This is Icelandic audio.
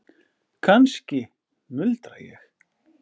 Kannski, muldra ég.